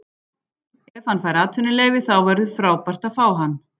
Ef hann fær atvinnuleyfi þá verður frábært að fá hann.